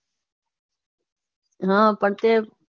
હા પછી